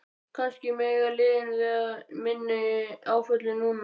Kannski mega liðin við minni áföllum núna?